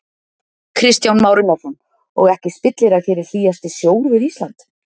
Kristján Már Unnarsson: Og ekki spillir að hér er hlýjasti sjór við Ísland?